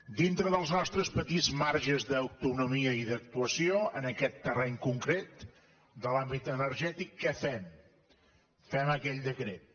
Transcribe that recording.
dintre dels nostres petits marges d’autonomia i d’actuació en aquest terreny concret de l’àmbit energètic què fem fem aquell decret